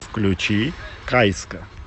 включи каиска